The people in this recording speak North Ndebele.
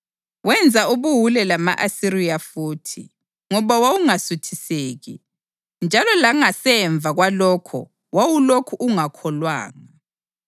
Wenza ubuwule lama-Asiriya futhi, ngoba wawungasuthiseki; njalo langasemva kwalokho wawulokhu ungakholwanga.